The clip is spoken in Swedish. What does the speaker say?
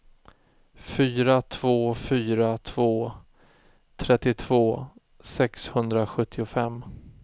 fyra två fyra två trettiotvå sexhundrasjuttiofem